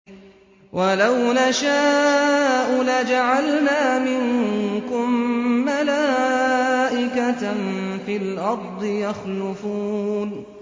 وَلَوْ نَشَاءُ لَجَعَلْنَا مِنكُم مَّلَائِكَةً فِي الْأَرْضِ يَخْلُفُونَ